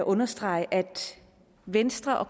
understrege at venstre og